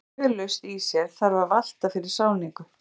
Ef flag er laust í sér þarf að valta fyrir sáningu.